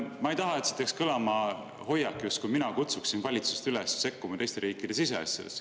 Ma ei taha, et siit jääks kõlama hoiak, justkui mina kutsuksin valitsust üles sekkuma teiste riikide siseasjadesse.